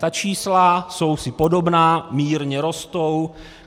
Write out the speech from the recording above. Ta čísla jsou si podobná, mírně rostou.